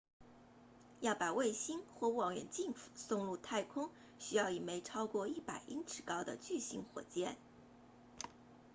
要把卫星或望远镜送入太空需要一枚超过100英尺高的巨型火箭